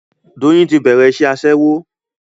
Doyin ti bẹ̀rẹ̀ iṣẹ́ Aṣẹ́wó